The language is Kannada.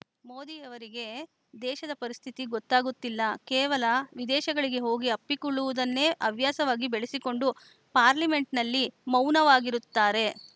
ಮೋದಿಯವರಿಗೆ ದೇಶದ ಪರಿಸ್ಥಿತಿ ಗೊತ್ತಾಗುತ್ತಿಲ್ಲ ಕೇವಲ ವಿದೇಶಗಳಿಗೆ ಹೋಗಿ ಅಪ್ಪಿಕೊಳ್ಳುವುದನ್ನೇ ಹವ್ಯಾಸವಾಗಿ ಬೆಳೆಸಿಕೊಂಡು ಪಾರ್ಲಿಮೆಂಟ್‌ನಲ್ಲಿ ಮೌನವಾಗಿರುತ್ತಾರೆ